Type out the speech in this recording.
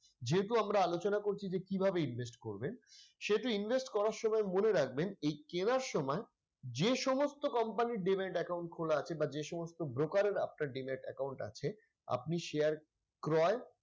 যেহেতু আমরা আলোচনা করছি যে কিভাবে invest করবেন সেহেতু invest করার সময় মনে রাখবেন এই কেনার সময় যে সমস্ত company র demat account খোলা আছে বা যেসমস্ত broker এর after demat account আছে আপনি share ক্রয়